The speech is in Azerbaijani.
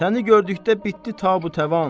Səni gördükdə bitdi ta bu təvan.